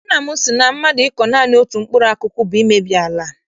Nna m sị na mmadụ ịkọ naanị otu mkpụrụ akụkụ bụ imebi ala.